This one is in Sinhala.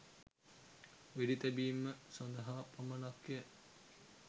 වෙඩි තැබීම සඳහා පමණක්ය